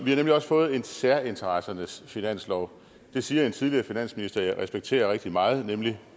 vi har nemlig også fået en særinteressernes finanslov det siger en tidligere finansminister som jeg respekterer rigtig meget nemlig